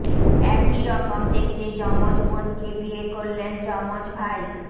একই রকম দেখতে যমজ বোনকে বিয়ে করলেন যমজ ভাই